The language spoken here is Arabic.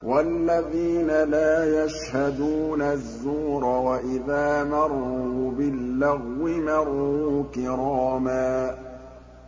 وَالَّذِينَ لَا يَشْهَدُونَ الزُّورَ وَإِذَا مَرُّوا بِاللَّغْوِ مَرُّوا كِرَامًا